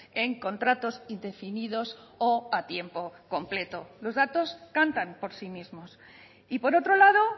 en contratos indefinidos o a tiempo completo los datos cantan por sí mismos y por otro lado